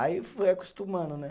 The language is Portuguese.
Aí foi acostumando, né?